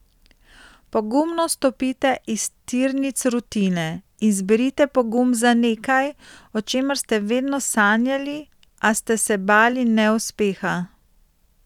Pogumno stopite iz tirnic rutine in zberite pogum za nekaj, o čemer ste vedno sanjali, a ste se bali neuspeha.